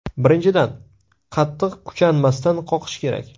Birinchidan, qattiq kuchanmasdan qoqish kerak.